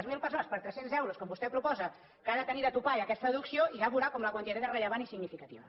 zero persones per tres cents euros com vostè proposa que ha de tenir de topall aquesta deducció i ja veurà com la quantitat és rellevant i significativa